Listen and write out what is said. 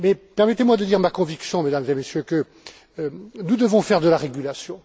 Permettez moi de dire ma conviction, Mesdames et Messieurs, que nous devons faire de la régulation.